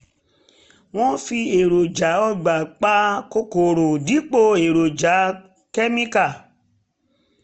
wọ́n fi èròjà ọgbà pa kòkòrò dípò èròjà kẹ́míkà